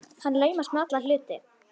Hann laumast með alla hluti.